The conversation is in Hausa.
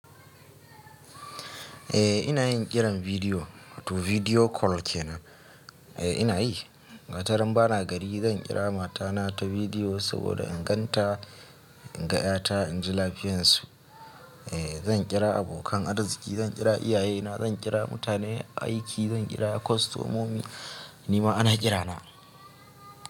Eh ina yin kiran bidiyo, wato bidiyo call kenan. Eh ina yi. Wata rana bana gari zan kira mata na ta bidiyo saboda in gan ta, in ga ƴa ta, in ji lafiyan su. Eh zan kira abokan arziki, zan kira iyaye na, zan kira mutane aiki, zan kira kostomomi, nima ana kirana.